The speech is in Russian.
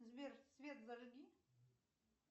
сбер свет зажги